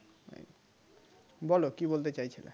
বলো কি বলতে চাইছিলে